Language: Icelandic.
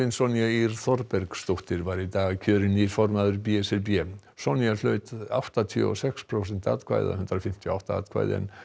Sonja Ýr Þorbergsdóttir var í dag kjörinn nýr formaður b s r b Sonja hlaut áttatíu og sex prósent atkvæða eða hundrað fimmtíu og átta atkvæði en